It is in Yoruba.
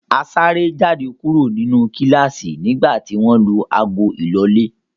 A sáré jáde kúrò nínú kíláásì nígbà tí wọ́n lu ago ìlọlẹ́.